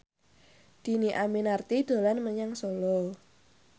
Dhini Aminarti dolan menyang Solo